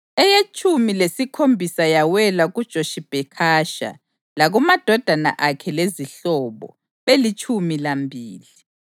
eyetshumi lesikhombisa yawela kuJoshibhekhasha, lakumadodana akhe lezihlobo, belitshumi lambili;